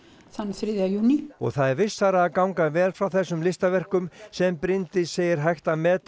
þann þriðja júní og það er vissara að ganga vel frá þessum listaverkum sem Bryndís segir hægt að meta